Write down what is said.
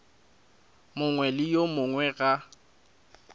mongwe le yo mongwe ga